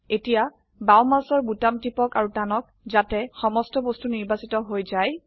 এতিয়া বাও মাউসৰ বোতাম টিপক আৰু টানক যাতে সমস্ত বস্তু নিৰ্বাচিত হৈ যায়